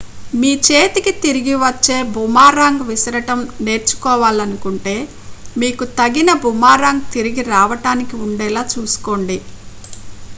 మీ చేతికి తిరిగి వచ్చే బూమరాంగ్ విసరడం నేర్చుకోవాలనుకుంటే మీకు తగిన బూమరాంగ్ తిరిగి రావడానికి ఉండేలా చూసుకోండి